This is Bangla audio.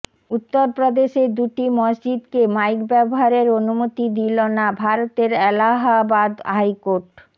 উত্তর প্রদেশে দুটি মসজিদকে মাইক ব্যবহারের অনুমতি দিল না ভারতের এলাহাবাদ হাইকোর্ট